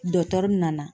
Dɔtɛri nana